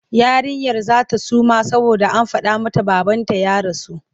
Yarinyar za ta suma saboda an faɗa mata babanta ya rasu.